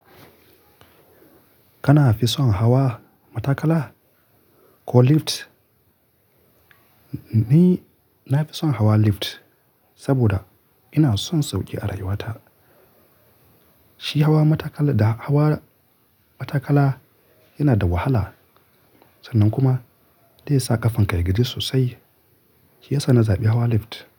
Kana fi son hawa matakala ko lift? Ni na fi son hawa lift saboda ina son sauƙi a rayuwata. Shi hawa matakala da hawa matakala yana da wahala sannan kuma zai sa ƙafanka ya gaji sosai. Shi ya sa na zaɓi hawa lift.